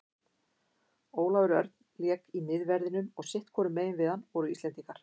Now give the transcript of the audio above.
Ólafur Örn lék í miðverðinum og sitthvorum megin við hann voru Íslendingar.